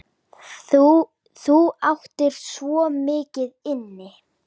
Þú áttir svo mikið inni.